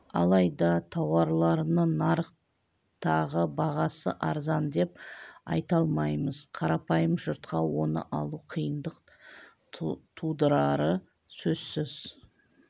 алайда тауарларының нарықтағы бағасы арзан деп айта алмаймыз қарапайым жұртқа оны алу қиындық тудырары сөзсіз